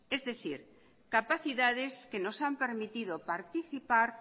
es decir capacidades que nos han permitido participar